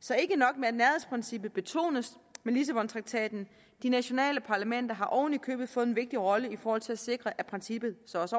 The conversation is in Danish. så ikke nok med at nærhedsprincippet betones med lissabontraktaten de nationale parlamenter har oven i købet fået en vigtig rolle i forhold til at sikre at princippet så også